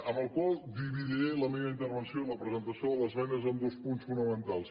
amb la qual cosa dividiré la meva intervenció i la presentació de les esmenes en dos punts fonamentals